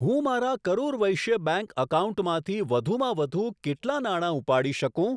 હું મારા કરુર વૈશ્ય બેંક એકાઉન્ટમાંથી વધુમાં વધુ કેટલા નાણા ઉપાડી શકું?